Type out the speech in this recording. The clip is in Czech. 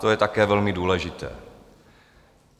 To je také velmi důležité.